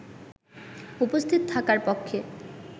উপস্থিত থাকার পক্ষে